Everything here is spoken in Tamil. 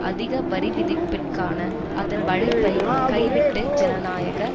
அதிக வரிவிதிப்பிற்கான அதன் வழைப்பை கைவிட்டுவிட்டு ஜனநாயக